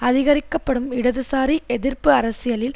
அதிகரிக்கப்படும் இடதுசாரி எதிர்ப்பு அரசியலில்